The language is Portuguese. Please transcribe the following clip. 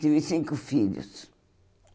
Tive cinco filhos.